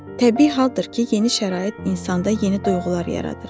Təbii haldır ki, yeni şərait insanda yeni duyğular yaradır.